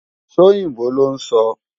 Ṣóyìnbó lọ́ ń sọ?